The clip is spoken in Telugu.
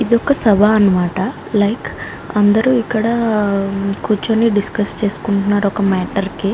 ఇది ఒక సభ అనమాట లైక్ అందరూ ఇక్కడ కూర్చుని డిస్కస్ చేసుకుంటున్నారు ఒక మ్యాటర్ కి --